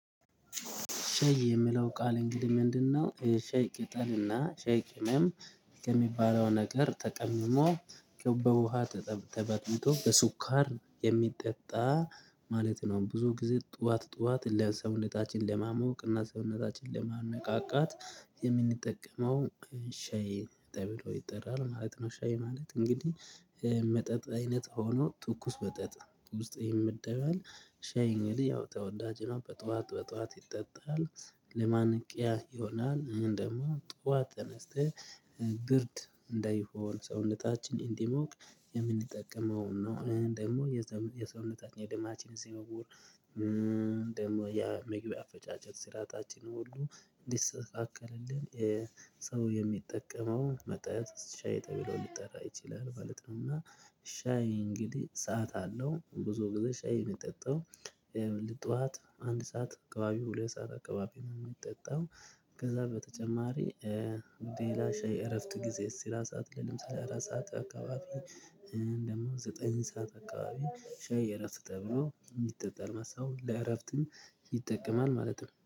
ሻይ የሚለው ቃል እንግዲህ ምንድነው ሻይ ቅጠልና ሻይ ቅምም ከሚባለው ነገር ተቀምሞ በውሃ ተበጥብጦ በሱኳር የሚጠጣ ማለት ነው ብዙ ጊዜ ጠዋት ጠዋት ለሰውነታችን ለማሞቅ እና ሰውነታችን ለማነቃቃት የምንጠቀመው ሻይ ተብሎ ይጠራል ማለት ነው። ሻይ ማለት እንግዲህ መጠጥ አይነት ሆኖ ትኩስ መጠጥ ውስጥ ይመደባል። ሻይ እንግዲህ ያው ተወዳጅ ነው በጠዋት በጠዋት ይጠጣል። ለማንቂያ ይሆናል እንደውም ጠዋት ተነስተህ ብርድ እንዳይሆን ሰውነታችን እንዲሞቅ የምንጠቀመው ነው። እኔ ደግሞ የሰውነታችን የድማችን ዝውውር ደግሞ የምግብ አፈጫጨት ስራታችንን ሁሉ እንዲስተካከልልን ሰው የሚጠቀመው መጠጥ ሻይ ተብሎ ሊጠራ ይችላል ማለት ነው። እና ሻይ እንግዲህ ሰዓት አለው ብዙ ጊዜ ሻይ የሚጠጣው ጠዋት አንድ ሰዓት አካባቢው ሁለት ሰዓት አካባቢ ነው የሚጠጣው። ከዛ በተጨማሪ ሌላ ሼይ እረፍት ጊዜስ ስራ ሰዓት ቀደም ስለ አራት ሰዓት አካባቢ ደግሞ ዘጠኝ ሰዓት አካባቢ ሻይ የረፍት ተብሎ የጠጣል መለት ነው። ለእረፍትም ይጠቀማል ማለት ነው